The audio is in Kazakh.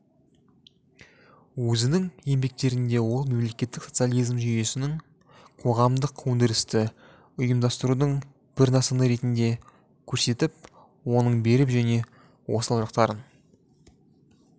өзінің еңбектерінде ол мемлекеттік социализм жүйесін қоғамдық өндірісті ұйымдастырудың бір нысаны ретінде көрсетіп оның берік және осал жақтарын